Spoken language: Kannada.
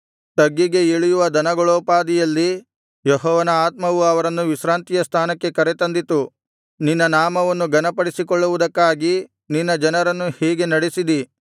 ತಗ್ಗಿಗೆ ಇಳಿಯುವ ದನಗಳೋಪಾದಿಯಲ್ಲಿ ಯೆಹೋವನ ಆತ್ಮವು ಅವರನ್ನು ವಿಶ್ರಾಂತಿಯ ಸ್ಥಾನಕ್ಕೆ ಕರೆತಂದಿತು ನಿನ್ನ ನಾಮವನ್ನು ಘನಪಡಿಸಿಕೊಳ್ಳುವುದಕ್ಕಾಗಿ ನಿನ್ನ ಜನರನ್ನು ಹೀಗೆ ನಡೆಸಿದಿ